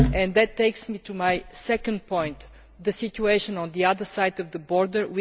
That takes me to my second point the situation on the other side of the border.